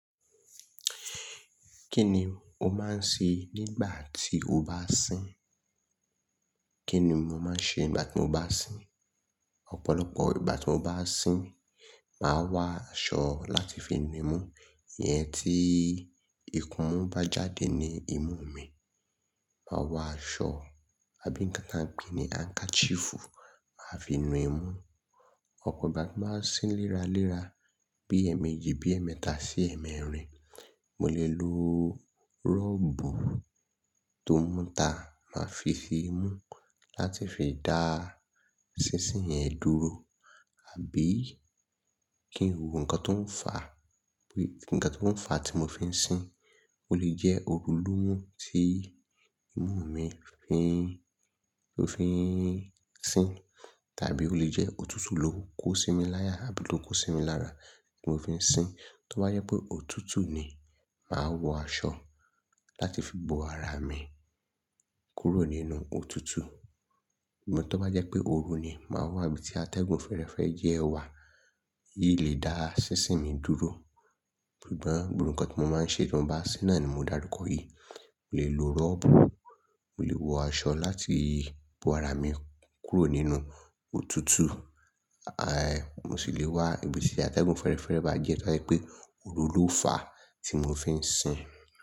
Kí ni o máa ń ṣe nígbà tí o bá sín? Kí ni mo máa ń ṣe nígbà tí mo bá sín? Ọ̀pọ̀lọpọ̀ ìgbà tí mo bá sín, màá wa aṣọ láti fi nu imú. Iyẹn tí ikunú bá jáde ní imú mi, mà á wọ aṣọ àbí nǹkan tí a ń pè ní handkerchief máa fi mú. Ọ̀pọ̀ ìgbà tí màá sín léra léra, bí èmi ji bí ẹ̀mẹta sí ẹ̀mẹrin, mo lè lo rọ́bù tó múta, màá fi si mú láti fi dá sísìn yẹn dúró. Àbí kí n wò ńǹkan tó ń fà, bí kí nǹkan tó ń fà tí mo fi ń sín. Ó lè jẹ́ òru ló mú tí imú mi fi, ó fi ń sín. Tàbí ó lè jẹ́ òtútù ló kó sí mi láyà àbí ló kó sí mi lára tí mo fi ń sín. Tó bá yẹ pé òtútù ni, mà á wọ aṣọ láti fi bo ara mi kúrò nínú òtútù. Ṣugbọn tó bá jẹ́ pé òru ni, mà á wá ibi tí atẹ́gùn fẹ́ẹ́rẹ́fẹ́ jẹ́ wà. Yi lè dá sísìn mi dúró. Gbigbọ̀n gbogbo ǹkan tí mo máa ń ṣe tí mo bá sín náà ni mo dárúkọ yìí. Mo lè lo rọ́bù, mo lè wọ aṣọ láti bo ara mi kúrò nínú òtútù. A, mo sì lè wá ibi tí atẹ́gùn fẹ́ẹ́rẹ́fẹ́ bá jẹ́ tó bá yẹ pé òru ló fà tí mo fi ń sín.